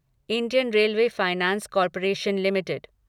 Indian railway finance corporation limited